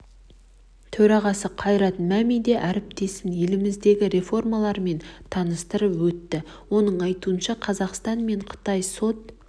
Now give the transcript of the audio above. төрағасы қайрат мәми де әріптесін еліміздегі реформалармен таныстырып өтті оның айтуынша қазақстан мен қытай сот